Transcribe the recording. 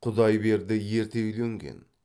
құдайберді ерте үйленген